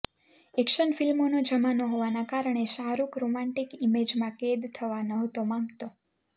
action ફ્લ્મિોનો જમાનો હોવાના કારણે શાહરૂખ રોમેન્ટિક ઇમેજમાં કેદ થવા નહોતો માગતો